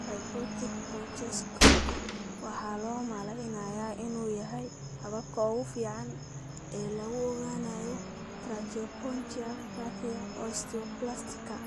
Fiberoptic bronchoscopy waxaa loo maleynayaa inuu yahay habka ugu fiican ee lagu ogaanayo tracheobronchopathia osteoplastica (TO).